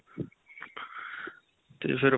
ਤੇ ਫਿਰ